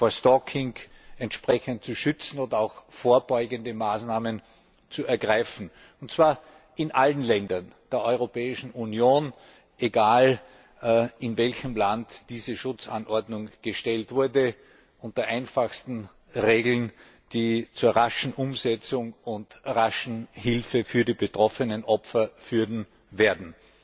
vor Stalking entsprechend zu schützen oder auch vorbeugende Maßnahmen zu ergreifen, und zwar in allen Ländern der Europäischen Union, egal, in welchem Land diese Schutzanordnung gestellt wurde, unter einfachsten Regeln, die zur raschen Umsetzung und raschen Hilfe für die betroffenen Opfer führen werden.